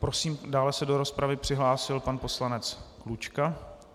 Prosím, dále se do rozpravy přihlásil pan poslanec Klučka.